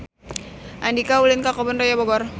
Andika ulin ka Kebun Raya Bogor